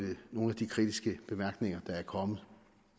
nogle af de kritiske bemærkninger der er kommet